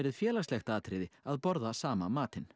félagslegt atriði að borða sama matinn